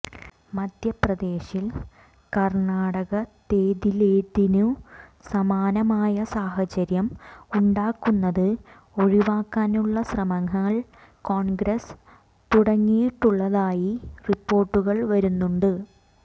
മധ്യപ്രദേശിൽ കർണാടകത്തേതിലേതിനു സമാനമായ സാഹചര്യം ഉണ്ടാകുന്നത് ഒഴിവാക്കാനുള്ള ശ്രമങ്ങൾ കോൺഗ്രസ് തുടങ്ങിയിട്ടുള്ളതായി റിപ്പോർട്ടുകൾ വരുന്നുണ്ട്